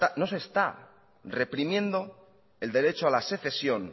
no se está reprimiendo el derecho a la secesión